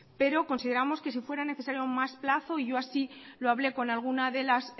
pero consideramos que si fuera necesario más plazo yo así lo hablé con alguna de